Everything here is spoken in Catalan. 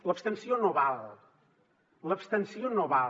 l’abstenció no val l’abstenció no val